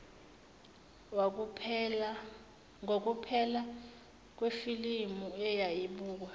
ngukuphela kwefilimu eyayibukwa